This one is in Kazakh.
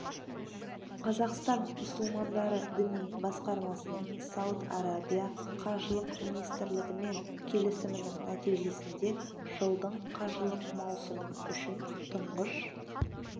қазақстан мұсылмандары діни басқармасының сауд арабия қажылық министрлігімен келісімінің нәтижесінде жылдың қажылық маусымы үшін тұңғыш